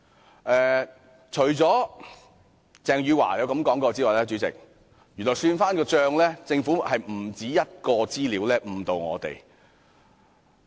主席，除了鄭汝樺的說話外，翻看資料發現，原來政府不單有一項資料誤導我們。